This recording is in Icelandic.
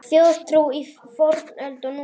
Þjóðtrú í fornöld og nútíð